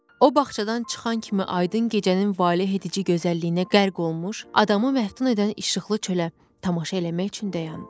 O bağçadan çıxan kimi aydın gecənin valehedici gözəlliyinə qərq olmuş, adamı məftun edən işıqlı çölə tamaşa eləmək üçün dayandı.